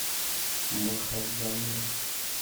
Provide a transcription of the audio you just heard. махадзанга